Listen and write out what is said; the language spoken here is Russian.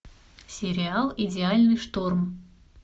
сериал идеальный шторм